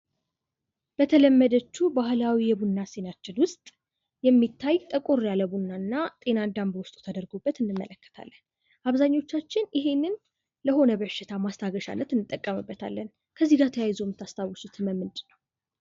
በተለመደችው ባህልዊ የቡና ሲኒያችን ውስጥ የሚታይ ጠቆር ያለ ቡናና ጤናዳም በውስጡ ተደርጎበት እንመለከታለን። አብዛኞቻችን ይህንን ለሆነ በሽታ ማስታገሻነት እንተቀምበታለን። ከዚህጋ ተያይዞ የምታስታውሱት ህመም ምንድን ነው?